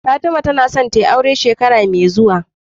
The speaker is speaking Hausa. Fatima tAna son tayi aure shekara me zuwa